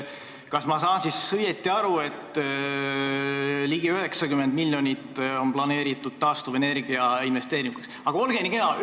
Kas ma saan õigesti aru, et ligi 90 miljonit on planeeritud taastuvenergia investeeringuteks?